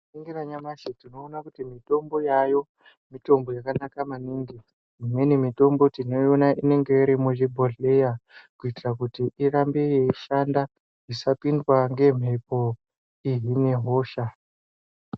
Tika ningira nyamashi tinoona kuti mitombo yayo mitombo yaka naka maningi imweni mitombo tino iona inenge iri mu zvibhodhleya kuitira kuti irambe yei shanda isa pindwa nge mhepo ihine hosha.